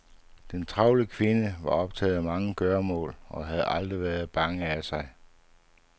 Den travle kvinde var optaget af mange gøremål og havde aldrig været bange af sig.